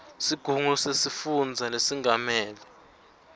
sigungu sesifundza lesengamele